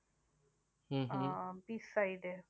ah beach side A